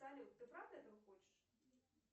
салют ты правда этого хочешь